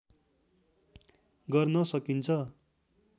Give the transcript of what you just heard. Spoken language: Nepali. गर्न साकिन्छ